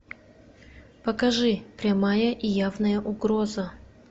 покажи прямая и явная угроза